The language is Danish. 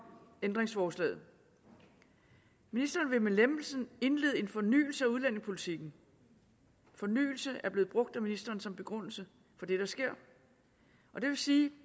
ændringsforslaget ministeren vil med lempelsen indlede en fornyelse af udlændingepolitikken fornyelse er blevet brugt af ministeren som begrundelse for det der sker det vil sige at